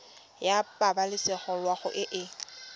ya pabalesego loago e e